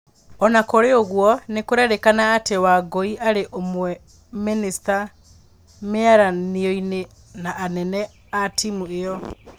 Ona kũrĩ ũguo, nĩkũrerĩkana atĩ Wangũarĩ ũmwe mĩnĩnja mĩaranionĩ na anene atimu ĩo.